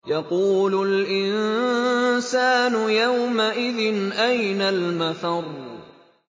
يَقُولُ الْإِنسَانُ يَوْمَئِذٍ أَيْنَ الْمَفَرُّ